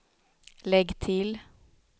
lägg till